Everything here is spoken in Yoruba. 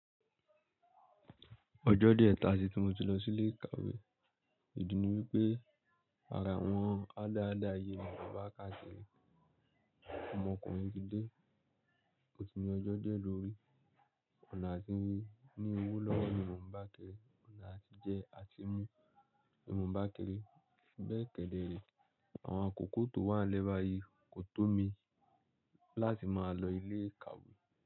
Ọjọ́ díẹ̀ ta tí tu mo ti lọ sí ilé ìkàwé ìdí ni wípé àrà àwọn ada ada yìí ni mo ń bá kakiri. Ọmọ ọkùnrin tí dé, ó ti ní ọjọ́ díẹ̀ lórí. Ọ̀nà àti rí ní owó lọ́wọ́ ni mo ń bá a kiri, ọ̀nà àti jẹ àtimu ni mo ń bá a kiri. Be kedere, àwọn akòkò tó wà n lẹ ba yi kò tó mi láti máa lọ ilé ìkàwé.